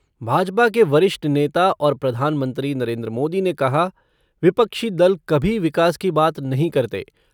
भाजपा के वरिष्ठ नेता और प्रधान मंत्री नरेंद्र मोदी ने कहा विपक्षी दल कभी विकास की बात नहीं करते।